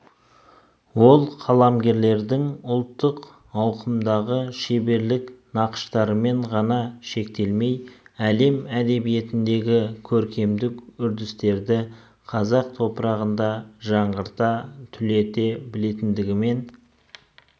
ол қаламгерлердің ұлттық ауқымдағы шеберлік нақыштарымен ғана шектелмей әлем әдебиетіндегі көркемдік үрдістерді қазақ топырағында жаңғырта түлете білгендігімен